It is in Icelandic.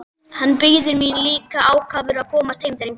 Hann bíður mín líka ákafur að komast heim drengurinn!